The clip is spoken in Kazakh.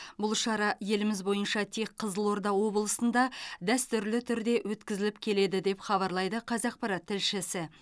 бұл шара еліміз бойынша тек қызылорда облысында дәстүрлі түрде өткізіліп келеді деп хабарлайды қазақпарат тілшісі